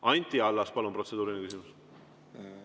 Anti Allas, palun, protseduuriline küsimus!